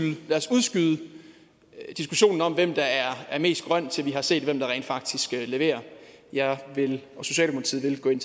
udskyde diskussionen om hvem der er mest grøn til vi har set hvem der rent faktisk leverer jeg og socialdemokratiet vil gå ind